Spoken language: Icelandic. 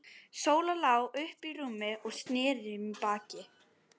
Sóla lá uppi í rúmi og snéri í mig baki.